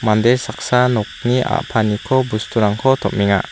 mande saksa nokni a·paniko bosturangko tom·enga.